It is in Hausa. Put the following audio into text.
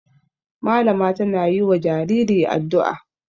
Malama tana yi wa jariri addu'a.